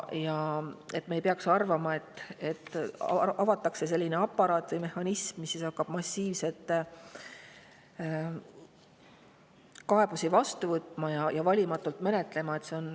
Me ei peaks arvama, et avatakse aparaat või mehhanism, mis hakkab kaebusi massiivselt vastu võtma ja valimatult menetlema.